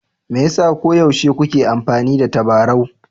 Me yasa koyaushe kuke amfani da tabarau?